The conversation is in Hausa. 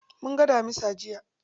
Munga damisa jiya.